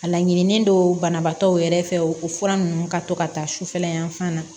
A laɲinilen don banabaatɔw yɛrɛ fɛ o fura nunnu ka to ka taa sufɛla yan fan na